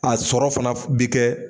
A sɔrɔ fana bɛ kɛ